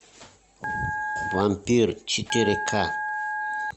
вампир четыре ка